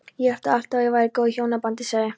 Ég hélt alltaf að ég væri í góðu hjónabandi sagði